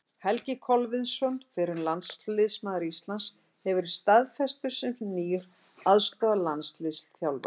Helgi Kolviðsson, fyrrum landsliðsmaður Íslands, hefur verið staðfestur sem nýr aðstoðarlandsliðsþjálfari.